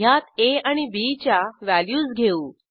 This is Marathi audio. ह्यात आ आणि बी च्या व्हॅल्यूज घेऊ